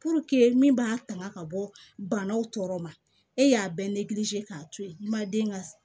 min b'a tanga ka bɔ banaw tɔɔrɔ ma e y'a bɛɛ k'a to yen i ma den ka